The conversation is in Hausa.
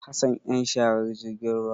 Hassan yan sharar jirgin ruwa.